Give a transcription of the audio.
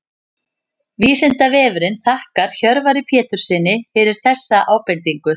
Vísindavefurinn þakkar Hjörvari Péturssyni fyrir þessa ábendingu.